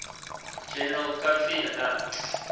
general kofi annan